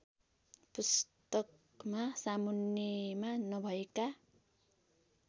पुस्तकमा सामुन्नेमा नभएका